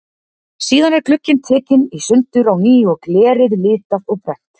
Síðan er glugginn tekinn í sundur á ný og glerið litað og brennt.